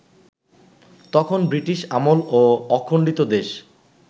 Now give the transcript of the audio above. তখন ব্রিটিশ আমল ও অখণ্ডিত দেশ